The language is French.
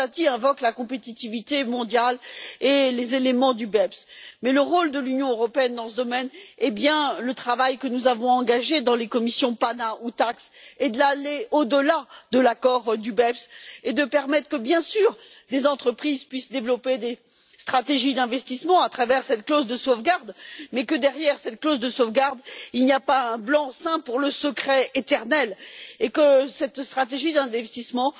Rosati invoque la compétitivité mondiale et les éléments du BEPS, mais le rôle de l'Union européenne dans ce domaine le travail que nous avons engagé dans les commissions PANA ou TAXE est d'aller au delà de l'accord du BEPS et de permettre que des entreprises puissent, bien sûr, développer des stratégies d'investissement à travers cette clause de sauvegarde, mais que, derrière cette clause de sauvegarde, il n'y ait pas un blanc seing pour le secret éternel et que cette stratégie d'investissement